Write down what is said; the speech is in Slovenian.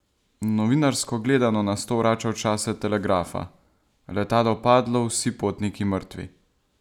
Novinarsko gledano nas to vrača v čase telegrafa: "letalo padlo, vsi potniki mrtvi.